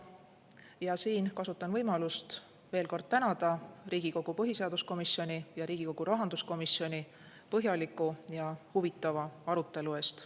Ja siin kasutan võimalust veel kord tänada Riigikogu põhiseaduskomisjoni ja Riigikogu rahanduskomisjoni põhjaliku ja huvitava arutelu eest.